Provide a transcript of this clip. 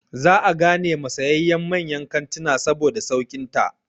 Za a gane ma sayayyan manyan kantina saboda sauƙin ta.